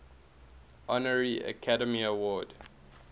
honorary academy award